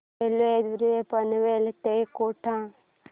railway द्वारे पनवेल ते कोटा